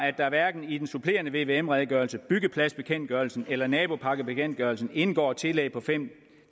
at der hverken i den supplerende vvm redegørelse byggepladsbekendtgørelsen eller naboparkbekendtgørelsen indgår tillæg på fem